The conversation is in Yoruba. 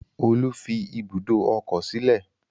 Olú fi ibùdó ọkọ̀ sílẹ̀.